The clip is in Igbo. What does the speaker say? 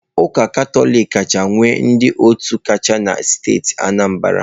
Ụka Katọlik kacha nwee ndị otu kacha na steeti Anambra.